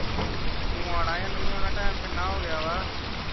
ਉਹ ਤੂੰ ਆਉਣਾ ਕੇ ਨਹੀਂ ਆਉਣਾ time ਕਿੰਨਾ ਹੋ ਗਿਆ